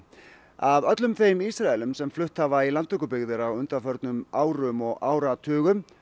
af öllum þeim Ísraelum sem flutt hafa í landtökubyggðir á undanförnum árum og áratugum